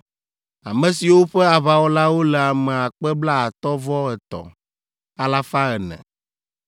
ame siwo ƒe aʋawɔlawo le ame akpe blaatɔ̃-vɔ-etɔ̃, alafa ene (53,400).